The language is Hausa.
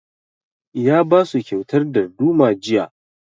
Ya ba su kyautar darduma jiya